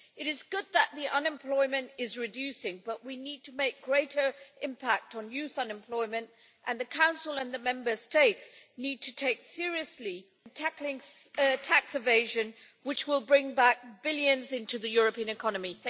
It is good that unemployment is reducing, but we need to make a greater impact on youth unemployment, and the Council and the Member States need to take seriously tackling tax evasion, which will bring back billions into the European economy.